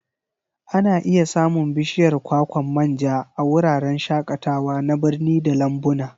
Ana iya samun bishiyar kwakwan manja a wuraren shakatawa na birni da lambuna.